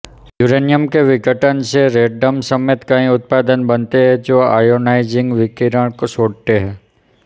uranium के विघटन से रेडन समेत कई उत्पाद बनते हैं जो आयॉनाइजिंग विकिरण छोड़ते हैं